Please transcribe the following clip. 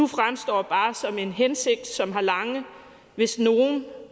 fremstår som en hensigt som har lange hvis